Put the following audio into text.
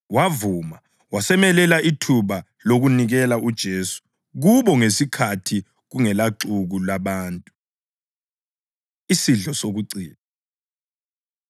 Wavuma, wasemelela ithuba lokunikela uJesu kubo ngesikhathi kungelaxuku labantu. Isidlo Sokucina